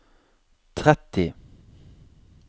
tretti